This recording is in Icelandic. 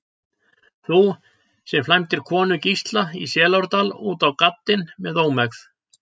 Þú, sem flæmdir konu Gísla í Selárdal út á gaddinn með ómegð.